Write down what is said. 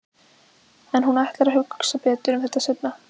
En hún ætlar að hugsa betur um þetta seinna.